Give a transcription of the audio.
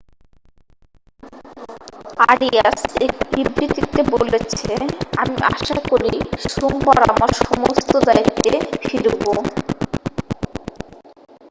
"Arias এক বিবৃতিতে বলেছে আমি আশা করি সোমবার আমার সমস্ত দায়িত্বে ফিরবো "।